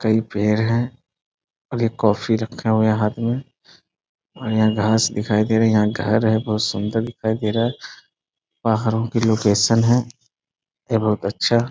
कई पेड़ है। कॉफी रखा हुआ है हाथ में और यहाँ घास दिखाई दे रहा है यहाँ घर है बहोत सुंदर दिखाई दे रहे है। पहाड़ो की लोकेशन है बहुत अच्छा --